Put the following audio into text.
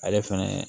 Ale fɛnɛ